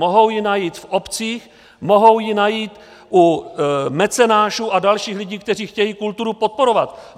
Mohou ji najít v obcích, mohou ji najít u mecenášů a dalších lidí, kteří chtějí kulturu podporovat.